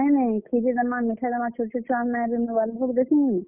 ନେଇ ନେଇ କ୍ଷୀରୀ ଦେମା ମିଠା ଦେମା, ଛୋଟ୍ ଛୋଟ୍ ଛୁଆମାନେ ଆଏବେ ଇନ ବାଲ୍ ଭୋଗ୍ ଦେଶୁଁ।